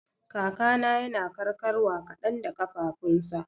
Kakana yana karkarwa kadan da kafafunsa.